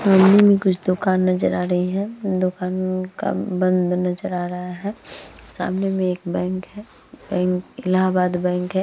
सामने में कुछ दुकान नजर आ रही है। दुकान का बंद नजर आ रहा है। सामने में एक बैंक है। बैंक अलाहाबाद बँक है।